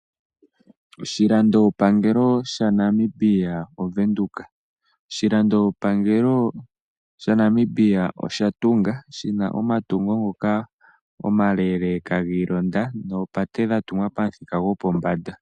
Oshilandopangelo shaNamibia oVenduka. Oshilandopangelo shaNamibia osha tunga shina omatungo ngoka omaleleeka giilonda noopate dha tungwa pamuthika gopombanda.